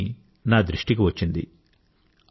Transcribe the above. అతడి పని నా దృష్టికి వచ్చింది